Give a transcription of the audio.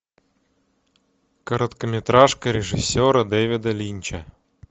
короткометражка режиссера дэвида линча